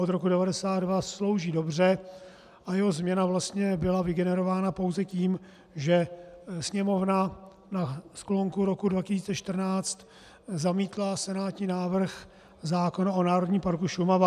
Od roku 1992 slouží dobře a jeho změna vlastně byla vygenerována pouze tím, že Sněmovna na sklonku roku 2014 zamítla senátní návrh zákona o Národním parku Šumava.